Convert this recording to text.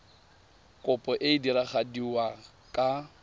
kopo e e diragadiwa ka